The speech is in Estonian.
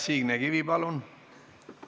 Signe Kivi, palun!